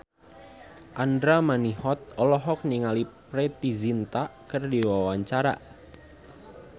Andra Manihot olohok ningali Preity Zinta keur diwawancara